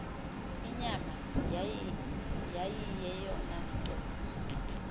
inyama yayiyeyona nto